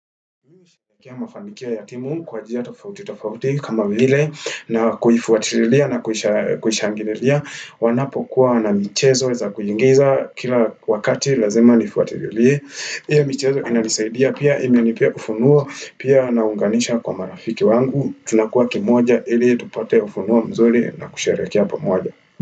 Mafanikio ya timu kwa njia tofauti tofauti kama vile na kuifuatililia na kuhishangililia wanapo kuwa na michezo za kuigiza kila wakati lazima nifuatililie hii michezo inalisaidia pia imenipea ufunuo pia naunganisha kwa marafiki wangu tunakuwa kimoja ili tupate ufunuo mzuri na kusherehekea pamoja.